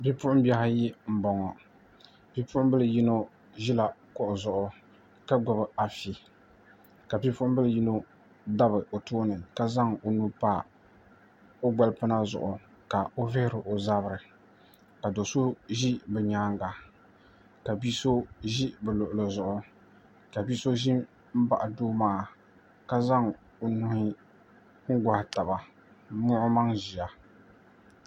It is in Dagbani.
Bipuɣunbihi ayi n boŋo bipuɣunbili yino ʒila kuɣu zuɣu ka gbubi afi ka bipuɣunbili yino dabi o tooni ka zaŋ o nuu pa o gbalpina zuɣu ka o vihiri o zabiri ka do so ʒi bi nyaanga ka bia so ʒi o luɣuli zuɣu ka bi so ʒi n baɣa doo maa ka zaŋ o nuhi n goɣa taba n muɣi o maŋ ʒiya